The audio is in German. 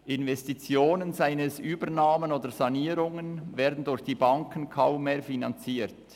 Investitionen, seien es Übernahmen oder Sanierungen, werden durch die Banken kaum mehr finanziert.